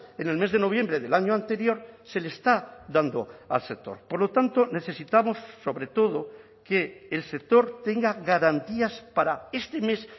en el mes de noviembre del año anterior se le está dando al sector por lo tanto necesitamos sobre todo que el sector tenga garantías para este mes